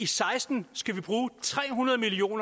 seksten skal bruge tre hundrede million